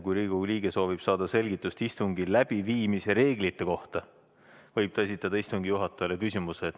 Kui Riigikogu liige soovib saada selgitust istungi läbiviimise reeglite kohta, võib ta esitada istungi juhatajale küsimuse.